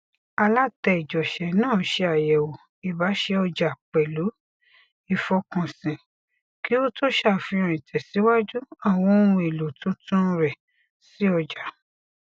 alátẹjọṣé náà ṣe àyẹwò ìbáṣe ọjà pẹlú ìfọkànsìn kí ó tó ṣàfihàn ìtẹsíwájú àwọn ohun èlò tuntun rẹ sí ọjà